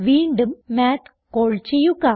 വീണ്ടും മാത്ത് കാൾ ചെയ്യുക